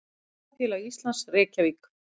Ferðafélag Íslands, Reykjavík.